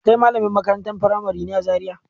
Kai malamin makarantar firamari ne a Zariya?